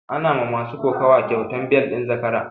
Ana ma masu kokuwa kyautan bel ɗin zakara